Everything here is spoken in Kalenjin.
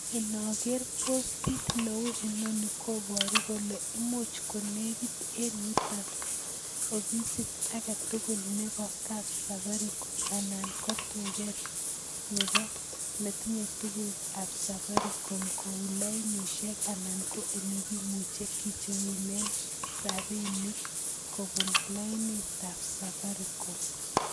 Inager postit neuu inoni koboru kole imuch ko negit eng yuton ofisit age tugul nebo kapsafaricom anan ko duket nebo ne tinye tukukab safaricom kou lainisiek anan ole kimuche kiicherunen rabinik kobunune lainitab safaricom